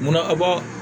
Munna aw ba